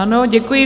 Ano, děkuji.